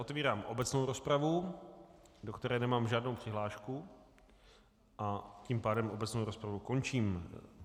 Otevírám obecnou rozpravu, do které nemám žádnou přihlášku, a tím pádem obecnou rozpravu končím.